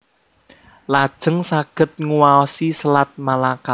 Lajeng saged nguwaosi Selat Malaka